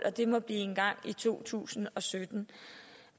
at det må blive engang i to tusind og sytten